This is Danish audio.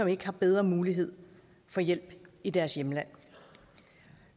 ikke har bedre mulighed for hjælp i deres hjemland